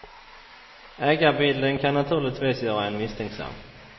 Ägarbilden kan naturligtvis göra en misstänksam.